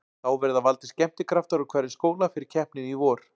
Þá verða valdir skemmtikraftar úr hverjum skóla fyrir keppnina í vor.